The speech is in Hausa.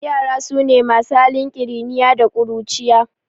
Ƴara sune masu halin kiriniya da ƙuruciya